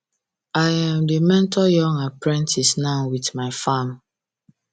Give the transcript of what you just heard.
i um dey mentor young apprentices now with my farm